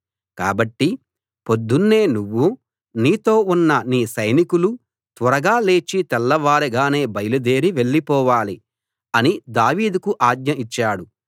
కాబట్టి పొద్దున్నే నువ్వూ నీతో ఉన్న నీ సైనికులు త్వరగా లేచి తెల్లవారగానే బయలుదేరి వెళ్ళిపోవాలి అని దావీదుకు ఆజ్ఞ ఇచ్చాడు